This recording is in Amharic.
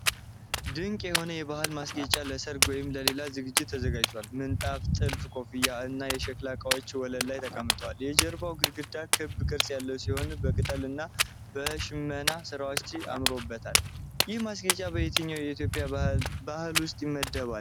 ድንቅ የሆነ የባህል ማስጌጫ ለሠርግ ወይም ለሌላ ዝግጅት ተዘጋጅቷል። ምንጣፍ፣ ጥልፍ ኮፍያዎች እና የሸክላ እቃዎች ወለል ላይ ተቀምጠዋል። የጀርባው ግድግዳ ክብ ቅርጽ ያለው ሲሆን በቅጠልና በሽመና ሥራዎች አምሮበታል። ይህ ማስጌጫ በየትኛው የኢትዮጵያ ባህል ውስጥ ይለመዳል?